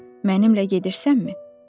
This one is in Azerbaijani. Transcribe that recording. Mənimlə gedirsənmi?